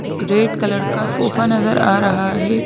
एक red colour का sofa नजर आ रहा है।